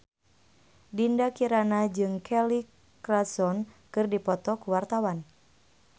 Dinda Kirana jeung Kelly Clarkson keur dipoto ku wartawan